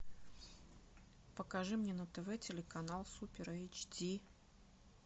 покажи мне на тв телеканал супер эйч ди